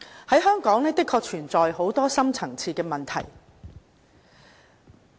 香港的確存有很多深層次問題。